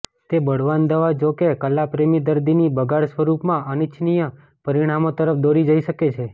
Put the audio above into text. તે બળવાન દવા જોકે કલાપ્રેમી દર્દીની બગાડ સ્વરૂપમાં અનિચ્છનીય પરિણામો તરફ દોરી જઇ શકે છે